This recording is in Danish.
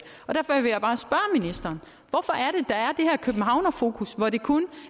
her københavnerfokus hvor det kun